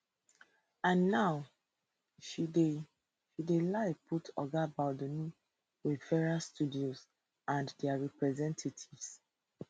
and now she dey she dey lie put oga baldoni wayfarer studios and dia representatives